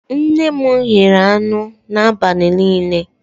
Nne m ghere anụ n'abalị niile